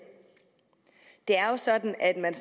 det er jo sådan at man